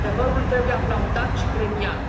Adevărul trebuie aplaudat și premiat.